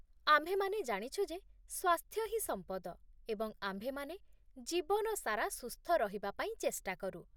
ଆମ୍ଭେମାନେ ଜାଣିଛୁ ଯେ ସ୍ୱାସ୍ଥ୍ୟ ହିଁ ସମ୍ପଦ, ଏବଂ ଆମ୍ଭେମାନେ ଜୀବନ ସାରା ସୁସ୍ଥ ରହିବା ପାଇଁ ଚେଷ୍ଟା କରୁ